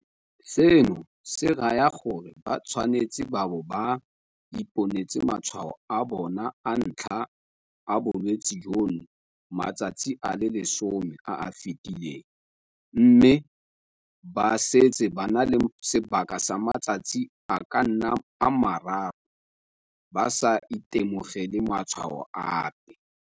Seno se raya gore ba tshwanetse ba bo ba iponetse matshwao a bona a ntlha a bolwetse jono matsatsi a le 10 a a fetileng mme ba setse ba na le sebaka sa matsatsi a ka nna a mararo ba sa itemogele matshwao ape.